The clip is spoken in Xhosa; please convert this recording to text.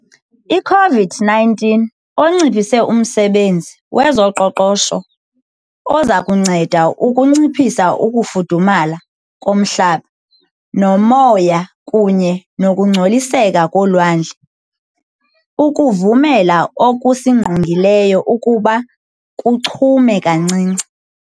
i-COVID-19 onciphise umsebenzi wezoqoqosho ozakunceda ukunciphisa ukufudumala komhlaba, umoya kunye nokungcoliseka kolwandle, ukuvumela okusingqongileyo ukuba kuchume kancinci.